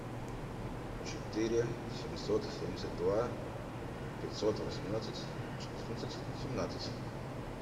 четыре семьсот семьдесят два пятьсот восемнадцать четырнадцать семнадцать